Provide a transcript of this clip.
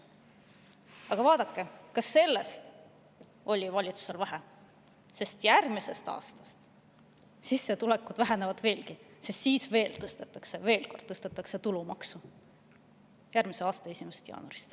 Aga vaadake, ka sellest oli valitsusele vähe, sest järgmisest aastast sissetulekud vähenevad veelgi, kui järgmise aasta 1. jaanuarist tõstetakse veel kord tulumaksu.